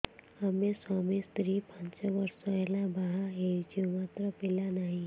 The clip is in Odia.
ଆମେ ସ୍ୱାମୀ ସ୍ତ୍ରୀ ପାଞ୍ଚ ବର୍ଷ ହେଲା ବାହା ହେଇଛୁ ମାତ୍ର ପିଲା ନାହିଁ